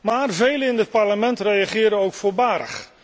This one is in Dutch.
Maar velen in dit Parlement reageren ook voorbarig.